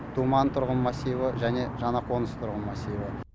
думан тұрғын массиві және жаңа қоныс тұрғын массиві